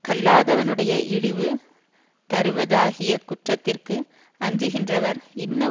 கல்லாதவனுடைய இழிவு தருவதாகிய குற்றத்திற்கு அஞ்சுகின்றவர் இன்ன